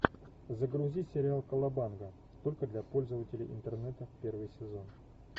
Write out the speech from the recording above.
загрузи сериал колобанга только для пользователей интернета первый сезон